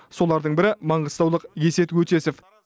солардың бірі маңғыстаулық есет өтесов